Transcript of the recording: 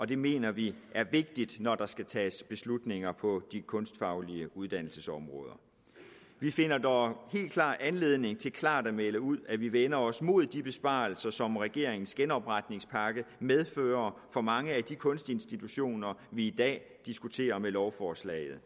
det mener vi er vigtigt når der skal tages beslutninger på de kunstfaglige uddannelsesområder vi finder dog anledning til klart at melde ud at vi vender os mod de besparelser som regeringens genopretningspakke medfører for mange af de kunstinstitutioner vi i dag diskuterer i forbindelse med lovforslaget